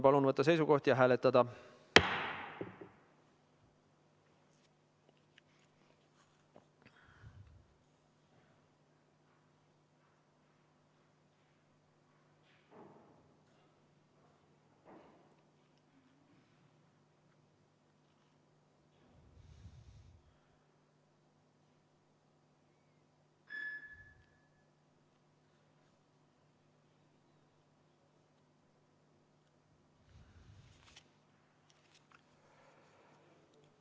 Palun võtta seisukoht ja hääletada!